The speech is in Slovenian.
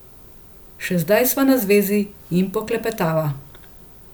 Še zdaj sva na zvezi in poklepetava.